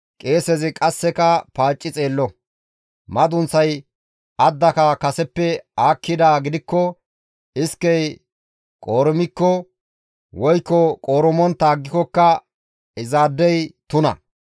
qeesezi qasseka paacci xeello; madunththay addaka kaseppe aakkidaa gidikko iskey qoorumikko woykko qoorumontta aggikokka izaadey tuna.